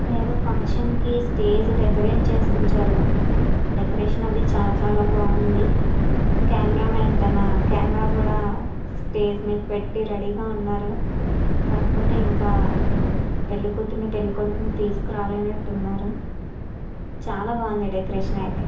ఇక్కడ ఎదో ఫంక్షన్ కి స్టేజి డెకరేట్ చేసి ఉంచారు డెకొరేషన్ అది చాల చాల బాగుంది కెమెరా మాన్ తన కెమెరా కూడా స్టేజి మీద పెట్టి రెడీ గ ఉన్నాడు కాకపోతే ఇంకా పెళ్లి కూతుర్ని పెళ్లి కొడుకుని తీసుకోని రాలేదు చాల బాగుంది డెకొరేషన్ అయితే.